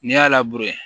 N'i y'a labure